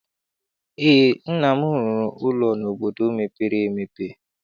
Eé, nna m rụrụ ụlọ n'obodo mepere emepe.